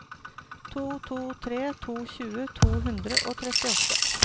to to tre to tjue to hundre og trettiåtte